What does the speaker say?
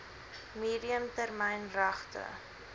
medium termyn regte